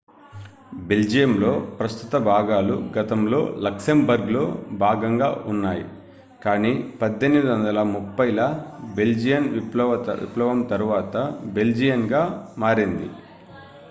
బెల్జియంలోని ప్రస్తుత భాగాలు గతంలో లక్సెంబర్గ్లో భాగంగా ఉన్నాయి కానీ 1830 ల బెల్జియన్ విప్లవం తరువాత బెల్జియన్గా మారింది